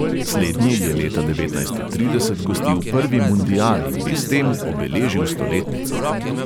Slednji je leta devetnajststo trideset gostil prvi mundial in bi s tem obeležil stoletnico.